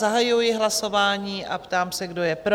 Zahajuji hlasování a ptám se, kdo je pro?